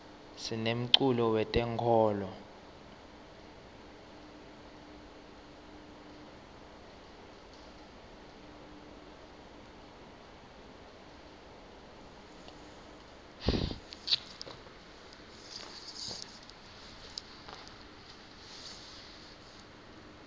sinemculo we tenkolo